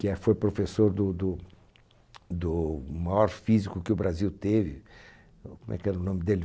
que foi professor do do do maior físico que o Brasil teve, como é que era o nome dele?